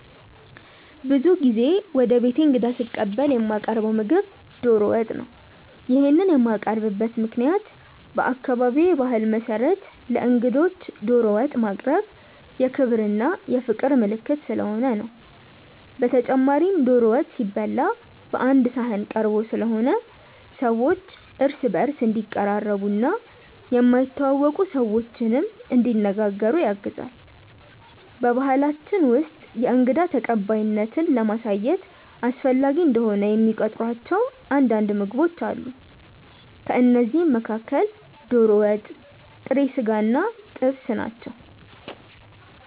ብዙ ጊዜ ወደ ቤቴ እንግዳ ስቀበል የማቀርው ምግብ ዶሮ ወጥ ነው። ይሄንን የማቀርብበት ምክንያትም በአካባቢዬ ባህል መሰረት ለእንግዶች ዶሮ ወጥ ማቅረብ የክብር እና የፍቅር ምልክት ስለሆነ ነው። በተጨማሪም ዶሮ ወጥ ሲበላ ቀአንድ ሰሀን ተቀርቦ ስለሆነ ሰዎች እርስ በእርስ እንዲቀራረቡ እና የማይተዋወቁ ሰዎችንም እንዲነጋገሩ ያግዛል። በባሕላችን ውስጥ የእንግዳ ተቀባይነትን ለማሳየት አስፈላጊ እንደሆነ የሚቆጥሯቸው አንዳንድ ምግቦች አሉ። ከእነዚህም መካከል ዶሮ ወጥ፣ ጥሬ ስጋ እና ጥብስ ናቸው።